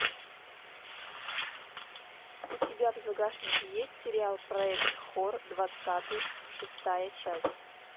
у тебя в загашнике есть сериал проект хор двадцатый шестая часть